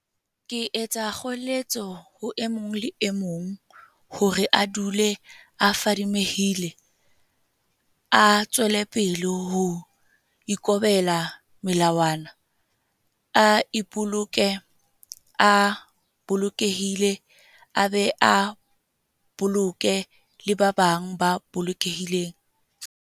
Ke etsa kgoeletso ho e mong le e mong hore a dule a fadimehile, a tswelepele ho ikobela melawana, a ipoloke a bolokehile a be a boloke le ba bang ba bolokehile.